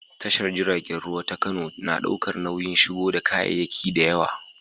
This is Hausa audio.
Tashar jiragen ruwa ta Kano na ɗaukar nauyin shigo da kayayyaki da yawa.